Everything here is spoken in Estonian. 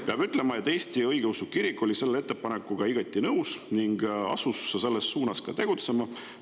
Peab ütlema, et Eesti õigeusu kirik oli selle ettepanekuga igati nõus ning asus selles suunas ka tegutsema.